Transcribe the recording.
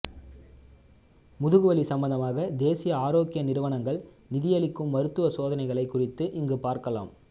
முதுகுவலி சம்பந்தமாக தேசிய ஆரோக்கிய நிறுவனங்கள் நிதியளிக்கும் மருத்துவ சோதனைகளைக் குறித்து இங்கு பார்க்கலாம்